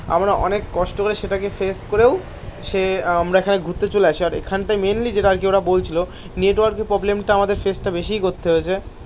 আমরা অনেক কষ্ট করে সেটাকে সেফ করেও সে আমরা এখানে ঘুরতে চলে আসি আর এখানটায় মেনলি যেটা আরকি ওরা বলছিলো নেটওয়ার্ক এর প্রবলেম টা আমাদের ফেস টা বেশিই করতে হয়েছে